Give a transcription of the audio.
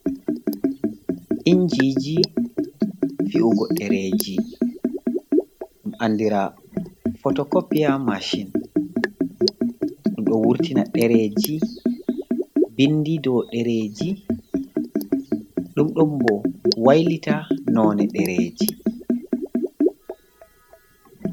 Injiji fi’ugo ɗereji, ɗum andira fotokopiya mashin, ɗum ɗo wurtina ɗereji bindi ɗo dereji, ɗum ɗon bo wailita none ɗereji.